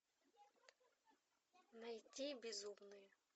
найти безумные